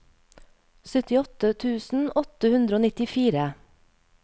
syttiåtte tusen åtte hundre og nittifire